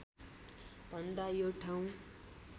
भन्दा यो ठाउँ